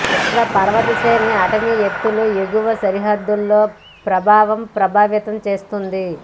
ఇక్కడ పర్వత శ్రేణి అటవీ ఎత్తులు ఎగువ సరిహద్దులో ప్రభావం ప్రభావితం చేస్తుంది